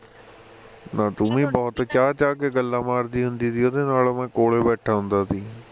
ਨਾ ਤੂੰ ਵੀ ਬਹੁਤ ਚਾਂ ਚਾਂ ਕੇ ਗੱਲਾਂ ਮਾਰਦੀ ਹੁੰਦੀ ਸੀ ਉਹਦੇ ਨਾਲ ਮੈਂ ਕੋਲ ਹੀ ਬੈਠਾਂ ਹੁੰਦਾ ਸੀ